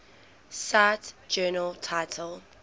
cite journal title